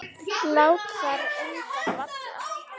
Lát þar enga falla.